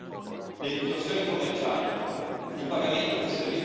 Stiamo consegnando uno strumento importante ed efficace agli Stati membri.